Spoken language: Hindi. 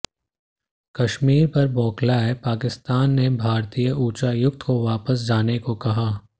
कश्मीर पर बौखलाए पाकिस्तान ने भारतीय उच्चायुक्त को वापस जाने को कहा